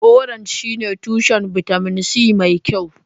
Orange shine tushen bitamin C mai kyau.